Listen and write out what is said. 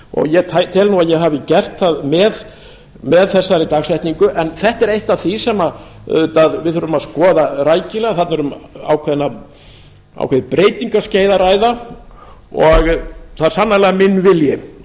og ég tel nú að ég hafi gert það með þessari dagsetningu en þetta er eitt af því sem við þurfum auðvitað að skoða rækilega þarna er um ákveðið breytingaskeið að ræða og það er sannarlega minn vilji